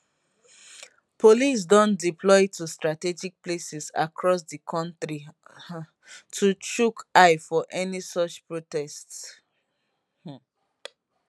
police don deploy to strategic places across di kontri um to chook eye for any such protests um